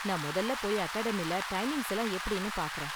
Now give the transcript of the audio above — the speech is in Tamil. நான் மொதல்ல போய் அகடாமியில டைமிங்ஸ் எல்லாம் எப்படினு பாக்கறேன்.